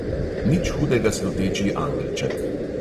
Nič hudega sluteči angelček!